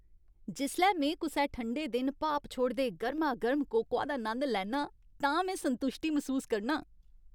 जिसलै में कुसै ठंडे दिन भाप छोड़दे गर्मागर्म कोकोआ दा नंद लैन्ना आं तां में संतुश्टी मसूस करनां ।